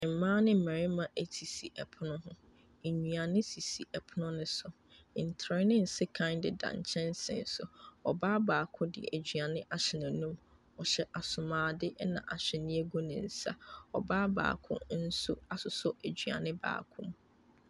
Mmaa ne mmarima sisi pono ho. Nnuane sisi pono no so. Ntere ne nsekan deda nkyɛnse so. Ɔbaa baako de aduane ahyɛ n'anum. Ɔhyɛ asomuadeɛ, ɛna nhwenew gu ne nsa. Ɔbaa baako nso asosɔ aduane baako mu.